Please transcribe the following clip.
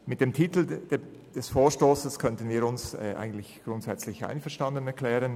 Mit dem Titel des Vorstosses könnten wir uns grundsätzlich einverstanden erklären.